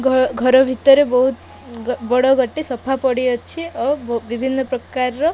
ଘ ଘର ଭିତରେ ବହୁତ୍ ବଡ଼ ଗୋଟେ ସୋଫା ପଡ଼ିଅଛି ଓ ବିଭିନ୍ନ ପ୍ରକାରର --